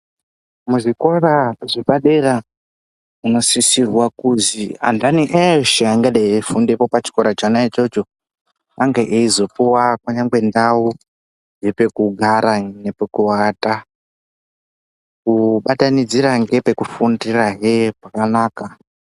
Muzvikora zvepadera munosisirwa kuzi antani eshe angadai eifundapo pachikora chona ichocho ange eizopuwa kunyangwe ndau yepekugara nepekuata kubatanidzira nepekufundirahe pakanaka.